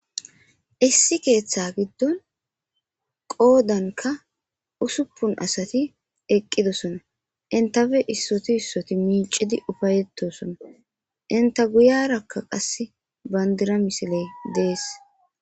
Issi keeththa giddon qoodanka usuppun asati eqqidosona; entape issoti issoti miicidi ufayetosona; enta guyaraka qassi bandira misiley dees.